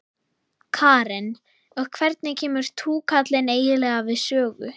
Karen: Og hvernig kemur túkallinn eiginlega við sögu?